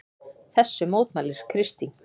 Þessu mótmælir Kristín.